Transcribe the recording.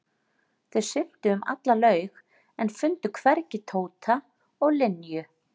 Þau syntu um alla laug en fundu hvergi Tóta og Linju.